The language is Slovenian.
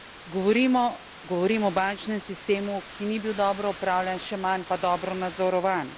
Govorim o bančnem sistemu, ki ni bil dobro upravljan, še manj pa dobro nadzorovan.